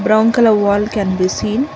brown colour wall can be seen